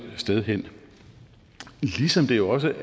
sted hen ligesom jeg jo også